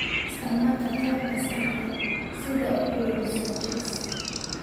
Isticmaal qalabka saxda ah si aad u quudiso chicks.